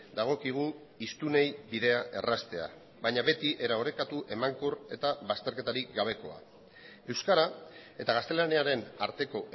dagokigu hiztunei bidea erraztea baina beti era orekatu emankor eta bazterketarik gabekoa euskara eta gaztelaniaren arteko